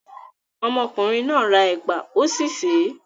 Ọmọkùnrin náà ra ẹ̀pà, ó sì sè é.